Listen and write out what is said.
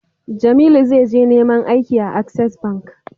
Jamilu za je neman aiki a access bank